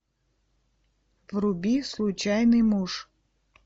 вруби случайный муж